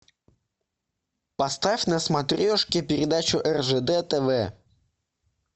поставь на смотрешке передачу ржд тв